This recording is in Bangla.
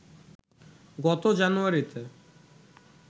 গত জানুয়ারিতে